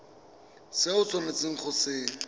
se o tshwanetseng go se